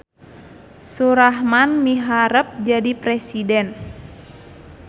Surahman miharep jadi presiden